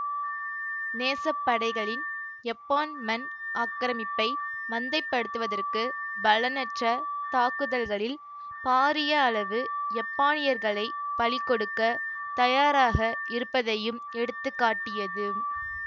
நேசப்படைகளின் யப்பான் மண் ஆக்கிரமிப்பை மந்தைப்படுத்துவதற்கு பலனற்ற தாக்குதல்களில் பாரிய அளவு யப்பானியர்களை பலிகொடுக்க தயாராக இருப்பதையும் எடுத்து காட்டியது